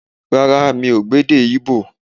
Rárá, mi ò gbọ́ èdè Ígbò